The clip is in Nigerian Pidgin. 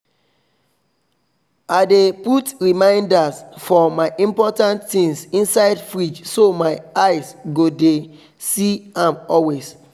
i dey put reminders for my important things inside fridge so my eye go dey see am always